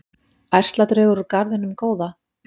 Ærsladraugur úr garðinum góða?